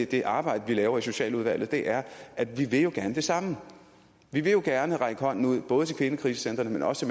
det arbejde vi laver i socialudvalget er at vi jo gerne vil det samme vi vil gerne række hånden ud både til kvindekrisecentrene men også